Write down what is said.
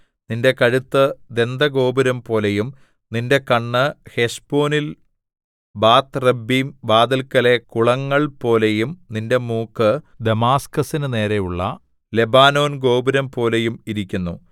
നിന്റെ കഴുത്ത് ദന്തഗോപുരംപോലെയും നിന്റെ കണ്ണ് ഹെശ്ബോനിൽ ബാത്ത് റബ്ബീം വാതില്‍ക്കലെ കുളങ്ങൾപോലെയും നിന്റെ മൂക്ക് ദമാസ്കസിന് നേരെയുള്ള ലെബാനോൻ ഗോപുരംപോലെയും ഇരിക്കുന്നു